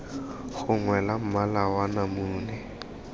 gongwe la mmala wa namune